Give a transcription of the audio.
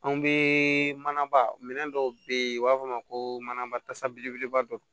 Anw bɛ manaba minɛ dɔw bɛ yen u b'a fɔ o ma ko manabasa belebeleba dɔ